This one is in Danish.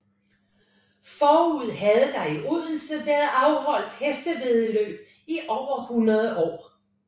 Forud havde der i Odense været afholdt hestevæddemål i over 100 år